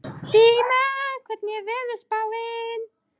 Stína, hvernig er veðurspáin?